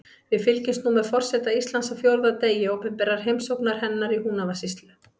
Við fylgjumst nú með forseta Íslands á fjórða degi opinberrar heimsóknar hennar í Húnavatnssýslu.